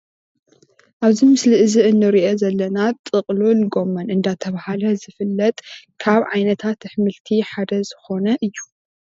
ኣብዚ ምስሊ እንርኦ ዘለና ጥቅልል ጎመን እንዳተባሃለ ዝፍለጥ ካብ ዓይነታት ኣሕምልቲ ሓደ ዝኾነ እዩ።